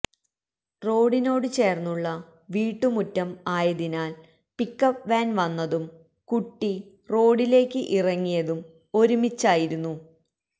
റോഡിനോട് ചേർന്നുള്ള വീട്ടുമുറ്റം ആയതിനാൽ പിക്കപ്പ് വാൻ വന്നതും കുട്ടി റോഡിലേക്ക് ഇറങ്ങിയതും ഒരുമിച്ചതായിരുന്നു